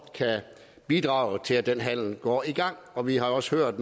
kan bidrage til at den handel går i gang og vi har jo også hørt af